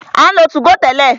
A ń lo 2go tẹ́lẹ̀.